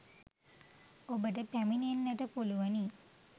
ඔබට පැමිණෙන්නට පුළුවනි.